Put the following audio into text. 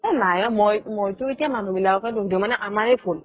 এই নাই ঔ মইতো এতিয়া মানুহ বিলাকে দুখ দিও মানে আমাৰে ভুল